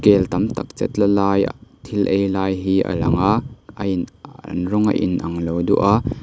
kel tam tak chetla lai ah thil ei lai hi a lang a a in an rawng a inang lo duah a--